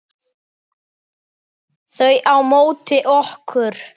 Þau á móti okkur.